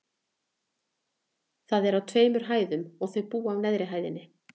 Það er á tveimur hæðum, og þau búa á neðri hæðinni.